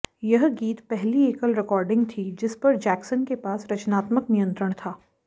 यह गीत पहली एकल रिकॉर्डिंग थी जिस पर जैक्सन के पास रचनात्मक नियंत्रण था